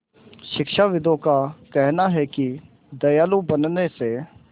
शिक्षाविदों का कहना है कि दयालु बनने से